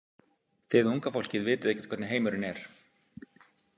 Þið unga fólkið vitið ekkert hvernig heimurinn er.